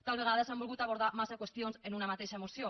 tal vegada s’han volgut abordar massa qüestions en una mateixa moció